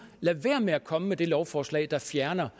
lade være med at komme med det lovforslag der fjerner